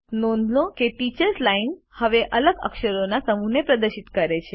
નોંધ લો કે ટીચર્સ લાઇન હવે અલગ અક્ષરોના સમૂહને પ્રદર્શિત કરે છે